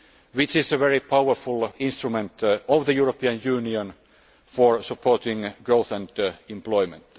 Bank, which is a very powerful instrument of the European Union for supporting growth and employment.